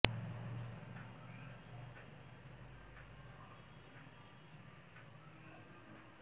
সাঁথিয়া পৌরসভায় মেয়র পদে বিএনপির বিদ্রোহী প্রার্থী পৌর বিএনপির যুগ্ম সাধারণ সম্পাদক মো